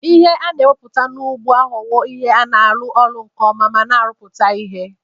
Ihe a na-emepụta n'ugbo aghọwo ihe na-arụ ọrụ nke ọma ma na-arụpụta ihe.